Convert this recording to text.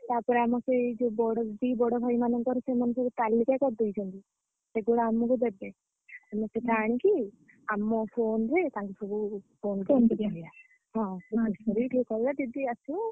ତାପରେ ଆମର ସେ ଯୋଉ ବଡ ଦିଦି ବଡ ଭାଇମାନଙ୍କର ସେମାନେ ସବୁ ତାଲିକା କରିଦେଇଛନ୍ତି। ସେଗୁଡା ଆମକୁ ଦେବେ। ଆମେ ସେଟା ଆଣିକି ଆମ phone ରେ ତାଙ୍କୁ ସବୁ phone କରିଆ। ହଁ ଟିକେ କହିବା ଦିଦି ଆସିବେ।